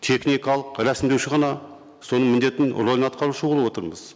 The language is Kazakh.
техникалық рәсімдеуші ғана соның міндетін рөлін атқарушы болып отырмыз